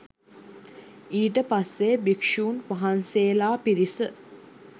ඊට පස්සෙ භික්ෂුන් වහන්සේලා පිරිස